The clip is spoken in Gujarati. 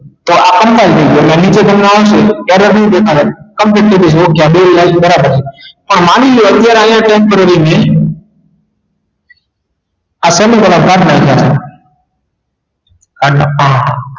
તો આ નીચે તમને આવશે ત્યારે શું દેખાડે છે બે બાજુ બરાબર છે પણ માની લો અત્યારે અહિયા temporary મૈં કાઠી નાખ્યા